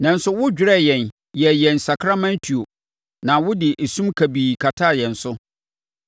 Nanso wodwerɛɛ yɛn yɛɛ yɛn sakraman tuo na wode esum kabii kataa yɛn so.